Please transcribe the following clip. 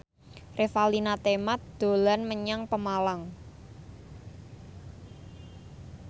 Revalina Temat dolan menyang Pemalang